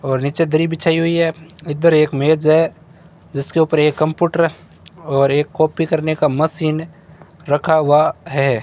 और नीचे धरी बिछाई हुई है इधर एक मेज है जिसके ऊपर एक कंप्यूटर और एक कॉपी करने का मशीन रखा हुआ है।